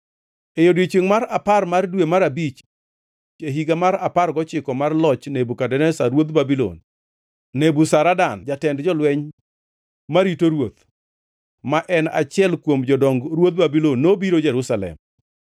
E odiechiengʼ mar apar mar dwe mar abich, e higa mar apar gochiko mar loch Nebukadneza ruodh Babulon, Nebuzaradan jatend jolweny marito ruoth, ma en achiel kuom jodong ruodh Babulon, nobiro Jerusalem.